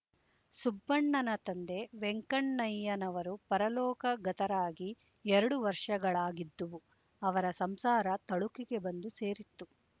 ಸುಬ್ಬಣ್ಣನ ತಂದೆ ವೆಂಕಣ್ಣಯ್ಯನವರು ಪರಲೋಕಗತರಾಗಿ ಎರಡು ವರ್ಷಗಳಾಗಿದ್ದುವು ಅವರ ಸಂಸಾರ ತಳುಕಿಗೆ ಬಂದು ಸೇರಿತ್ತು